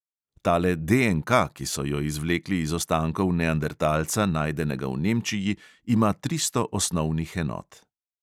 Tale DNK, ki so jo izvlekli iz ostankov neandertalca, najdenega v nemčiji, ima tristo osnovnih enot.